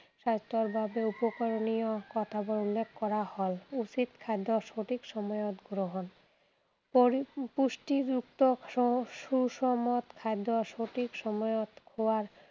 স্বাস্থ্যৰ বাবে উপকৰণীয় কথাবোৰ উল্লেখ কৰা হল। উচিত খাদ্য সঠিক সময়ত গ্ৰহণ। পৰি পুষ্টিযুক্ত সু সুষমত খাদ্য সঠিক সময়ত খোৱাৰ